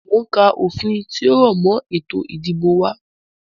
Mo ń ka òfin tí ó rọ̀ mọ ètò ìdìbò wá.